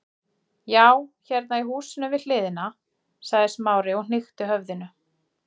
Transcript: Já, hérna í húsinu við hliðina- sagði Smári og hnykkti höfðinu.